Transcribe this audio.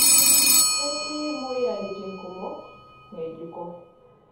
Ketii moyiaritin kumok ng'ejuko.